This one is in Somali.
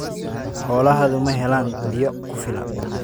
Xoolahaagu ma helaan biyo ku filan?